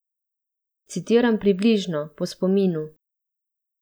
Citiram približno, po spominu.